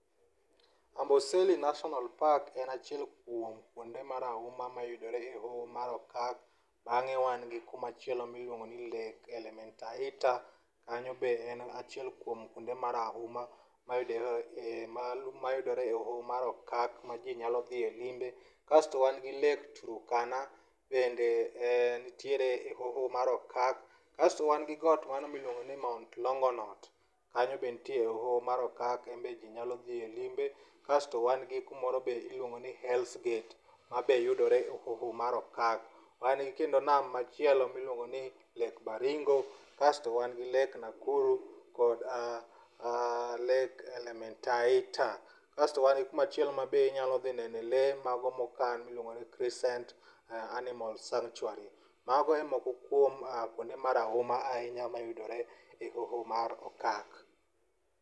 Amboseli natinal park en achiel kuom kuonde marahuma mayudore e hoho mar okak bange wan gi kumachielo miluongo ni lake elementaita kanyo be en achiel kuom kuonde marahuma mayudore e hoho mar okak ma ji nyalo dhiye limbe. Kasto wan gi lake turkana bende entiere e hoho mar okak. Kasto wan gi got mano miluongo ni mount longonot, kanyo be nitie hoho mar okak enbe ji nyalo dhioye limbe. Kasto wan gi kumoro be iluongo ni hells gate mabe yudore hoho mar okak. Wan kendo gi nam machielo miluongoni lake baringo kasto wan gi lake nakuru kod lake elementaita kasto wangi kumachielo ma be inyalo dhi nene lee mago mokan miluongo ni crescent animal sanctuary. Mago e moko kuom kuonde marahuma ahinya mayudore e hoho mar okak.